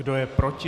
Kdo je proti?